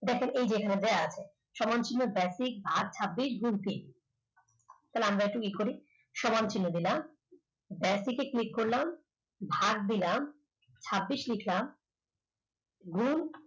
তারপর এই যে এখানে দেওয়া আছে সমান চিহ্ন basic ভাগ ছাব্বিশ তাহলে আমরা একটু ই করি সমান চিহ্ন দিলাম basic এ click করলাম ভাগ দিলাম ছাব্বিশ লিখলাম গুণ